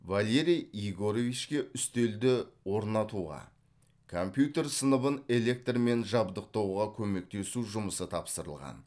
валерий егоровичке үстелді орнатуға компьютер сыныбын электрмен жабдықтауға көмектесу жұмысы тапсырылған